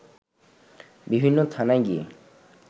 বিভিন্ন থানায় গিয়ে